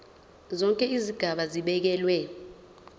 zonke izigaba zibekelwe